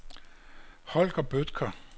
Holger Bødker